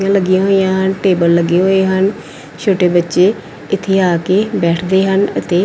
ਕੁਰਸੀਆਂ ਲੱਗੀਆਂ ਹੋਈਆਂ ਹਨ ਟੇਬਲ ਲੱਗੇ ਹੋਏ ਹਨ ਛੋਟੇ ਬੱਚੇ ਇੱਥੇ ਆ ਕੇ ਬੈਠਦੇ ਹਨ ਅਤੇ।